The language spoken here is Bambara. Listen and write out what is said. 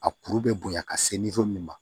A kuru bɛ bonya ka se min ma